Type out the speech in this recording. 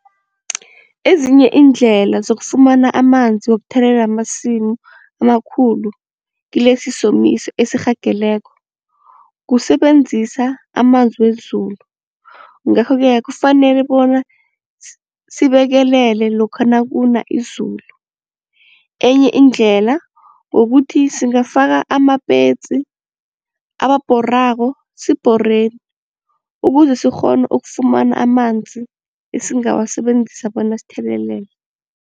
Ezinye iindlela zokufumana amanzi wokuthelelela amasimu amakhulu kilesi somiso esirhageleko, kusebenzisa amanzi wezulu. Ngakho-ke kufanele bona sibekelele lokha nakuna izulu, enye indlela kukuthi singafaka amapetsi, ababhorako sibhoreni ukuze sikghone ukufumana amanzi esingawasebenzisa bona sithelelele.